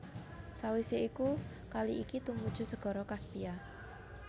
Sawisé iku kali iki tumuju Segara Kaspia